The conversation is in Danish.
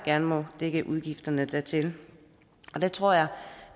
gerne må dække udgifterne dertil og der tror jeg